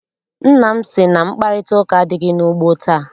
Nna m sị na mkparịtaụka adịghị n'ugbo taa.